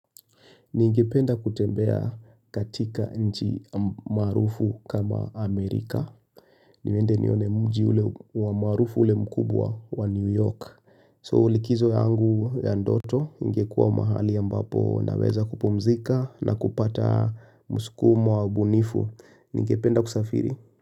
Ningependa kutembea katika nchi maarufu kama Amerika. Niende nione mji ule wa maarufu ule mkubwa wa New York. So likizo yangu ya ndoto ingekua mahali ambapo naweza kupumzika na kupata muskumo au ubunifu. Ningependa kusafiri.